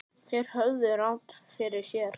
Þeir höfðu rangt fyrir sér.